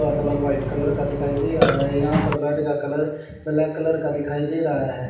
Colour white colour का दिखाई दे रहा है यहां पर बेड का कलर ब्लैक कलर का दिखाई दे रहा है।